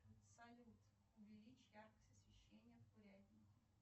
салют увеличь яркость освещения в курятнике